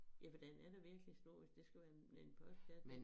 Ja for den er da virkelig stor hvis det skulle være en en postkasse